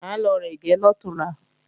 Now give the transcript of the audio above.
À ń lọ rẹ̀gẹ́ lọ̀túnla